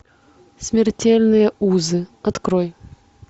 смертельные узы открой